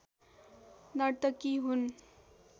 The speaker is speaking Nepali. नर्तकी हुन्